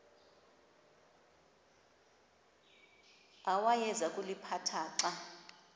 awayeza kuliphatha xa